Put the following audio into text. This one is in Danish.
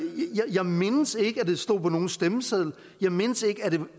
jeg mindes ikke at det stod på nogen stemmeseddel jeg mindes ikke